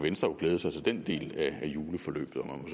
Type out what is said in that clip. venstre jo glæde sig til den del af juleforløbet om